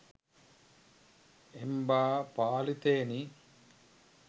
එම්බා පාලිතයෙනි